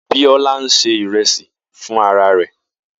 Bisola ń ṣe ìrẹsì fún ara rẹ̀.